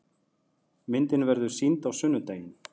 Myndin verður sýnd á sunnudaginn.